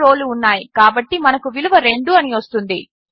2 రోలు ఉన్నాయి కాబట్టి మనకు విలువ 2 అని వస్తుంది